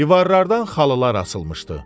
Divarlardan xalılar asılmışdı.